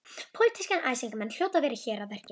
Pólitískir æsingamenn hljóta að vera hér að verki.